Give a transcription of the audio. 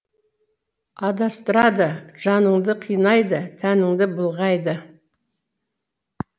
адастырады жаныңды қинайды тәніңді былғайды